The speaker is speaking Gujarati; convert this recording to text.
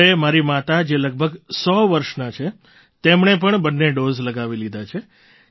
અરે મારી માતા જે લગભગ સો વર્ષનાં છે તેમણે પણ બંને ડૉઝ લગાવી લીધા છે